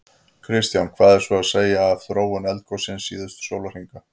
Kristján: Hvað er svo að segja af þróun eldgossins síðasta sólarhringinn?